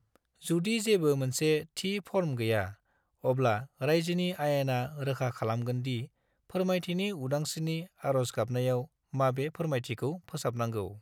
जुदि जेबो मोनसे थि फर्म गैया, अब्ला रायजोनि आयेना रोखा खालामगोन दि फोरमायथिनि उदांस्रिनि आर'ज गाबनायाव माबे फोरमायथिखौ सोफानांगौ।